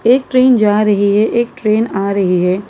एक ट्रेन जा रही है एक ट्रेन आ रही है।